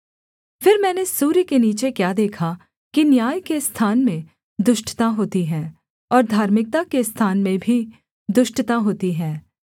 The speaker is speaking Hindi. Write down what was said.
फिर मैंने सूर्य के नीचे क्या देखा कि न्याय के स्थान में दुष्टता होती है और धार्मिकता के स्थान में भी दुष्टता होती है